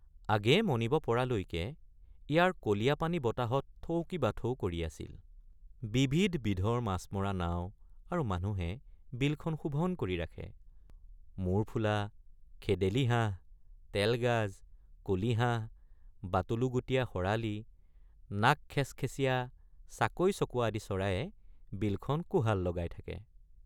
আগেয়ে মণিব পৰালৈকে ইয়াৰ কলীয়াপানী বতাহত থৌকিবাথৌ কৰি আছিল ৷ বিবিধ বিধৰ মাছমৰা নাও আৰু মানুহে বিলখন শোভন কৰি ৰাখে ৷ মূৰফুলা খেদেলী হাঁহ তেলগাজ কলীহাঁহ বাটলুগুটীয়া শৰালী নাক খেচখেচীয়া চাকৈচকোৱা আদি চৰায়ে বিলখনত কোহাল লগাই থাকে।